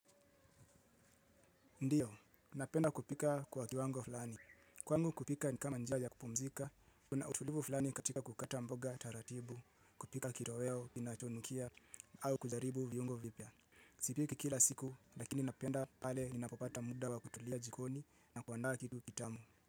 Ndiyo, napenda kupika kwa kiwango fulani. Kwangu kupika ni kama njia ya kupumzika, kuna utulivu fulani katika kukata mboga taratibu, kupika kitoweo kinachonukia, au kujaribu viungo vipya. Sipiki kila siku, lakini napenda pale ninapopata muda wa kutulia jikoni na kuandaa kitu kitamu.